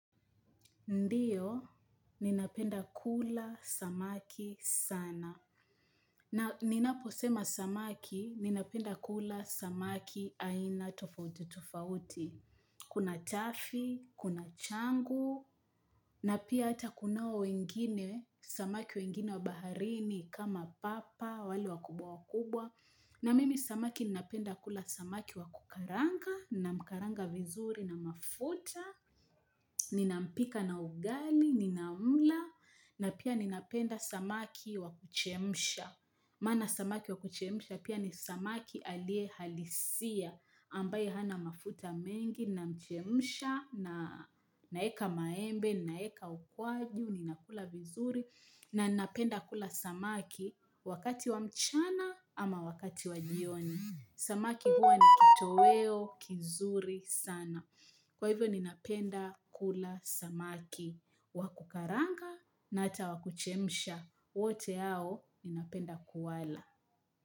Ndiyo, ninapenda kula samaki sana. Na ninaposema samaki, ninapenda kula samaki aina tofauti tofauti. Kuna chafi, kuna changu, na pia hata kunao wengine, samaki wengine wa baharini kama papa, wale wakubwa wakubwa. Na mimi samaki ninapenda kula samaki wakukalanga, nina mkalanga vizuri na mafuta, Ninampika na ugali, ninamla. Na pia ninapenda samaki wakuchemsha. Maana samaki wakucheisha pia ni samaki aliye halisia. Ambaye hana mafuta mengi, ninamchemsha na na weka maembe, na weka ukwaju, ninakula vizuri na ninapenda kula samaki wakati wa mchana ama wakati wa jioni. Samaki huwa ni kitoweo, kizuri sana. Kwa hivyo ninapenda kula samaki, wakukalanga na hata wakuchemsha, wote hao ninapenda kuwala.